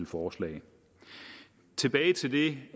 forslag tilbage til det